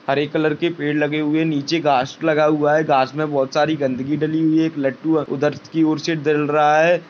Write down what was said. हरे colour पेड़ लगे हुए है नीचे घास लगा हुआ है घास में बहुत सारी गंदगी डली हुई है एक लटू है उधर की और से दल रहा है।